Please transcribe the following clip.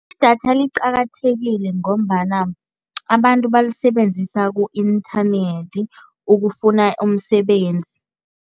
Idatha liqakathekile ngombana abantu balisebenzisa ku-inthanethi ukufuna umsebenzi.